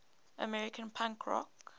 american punk rock